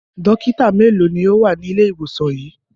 Dọ́kítá mélòó ni ó wà ní ilé-ìwòsàn yìí?